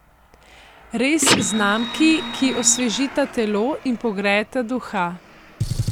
Res znamki, ki osvežita telo in pogrejeta duha.